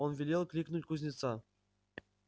он велел кликнуть кузнеца